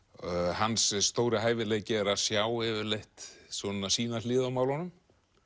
hans stóri hæfileiki er að sjá yfirleitt sína hlið á málunum